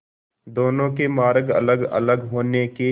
दोनों के मार्ग अलगअलग होने के